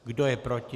Kdo je proti?